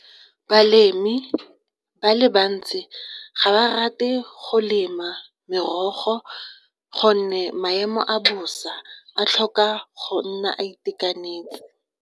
Balemi ba le bantsi ga ba rate go lema merogo gonne maemo a bosa a tlhoka go nna a itekanetse.